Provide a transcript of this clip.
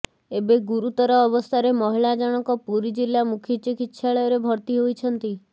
ଏବେ ଗୁରୁତର ଅବସ୍ଥାରେ ମହିଳା ଜଣକ ପୁରୀ ଜିଲ୍ଲା ମୁଖ୍ୟ ଚିକିତ୍ସାଳୟରେ ଭର୍ତ୍ତି ହୋଇଛନ୍ତି